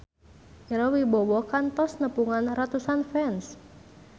Ira Wibowo kantos nepungan ratusan fans